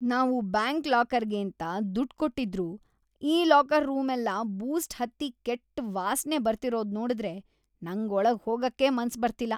ನಾವು ಬ್ಯಾಂಕ್ ಲಾಕರ್‌ಗೇಂತ ದುಡ್ಡ್‌ ಕೊಟ್ಟಿದ್ರೂ ಈ ಲಾಕರ್ ರೂಮೆಲ್ಲ ಬೂಸ್ಟ್‌ ಹತ್ತಿ ಕೆಟ್ಟ್ ವಾಸ್ನೆ‌ ಬರ್ತಿರೋದ್ನೋಡುದ್ರೆ ‌ನಂಗ್ ಒಳಗ್‌ ಹೋಗಕ್ಕೇ ಮನ್ಸ್‌ ಬರ್ತಿಲ್ಲ.